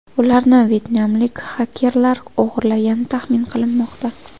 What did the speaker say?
Ularni vyetnamlik xakerlar o‘g‘irlagani taxmin qilinmoqda.